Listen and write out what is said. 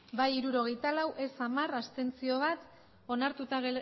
bai hirurogeita lau ez hamar abstentzioak bat onartuta